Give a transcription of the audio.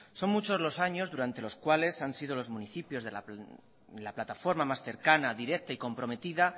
son muchos los años durante los cuales han sido los municipios la plataforma más cercana directa y cercana